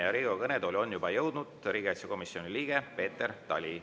Ja Riigikogu kõnetooli on juba jõudnud riigikaitsekomisjoni liige Peeter Tali.